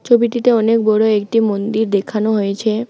ছবিটিতে অনেক বড়ো একটি মন্দির দেখানো হয়েছে।